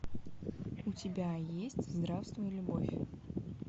у тебя есть здравствуй любовь